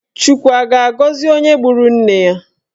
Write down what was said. Chukwu a ga-agọzi onye gburu nne ya?